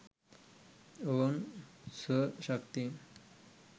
ඔවුන් ස්ව ශක්තියෙන්